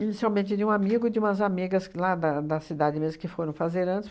inicialmente de um amigo e de umas amigas lá da da cidade mesmo que foram fazer antes.